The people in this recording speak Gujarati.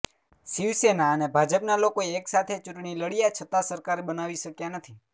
શિવસેના અને ભાજપના લોકો એક સાથે ચૂંટણી લડ્યા છતા સરકાર બનાવી શક્યા નથી